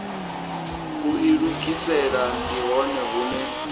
u ilugisela ndi hone hune